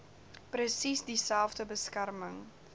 presies dieselfde beskerming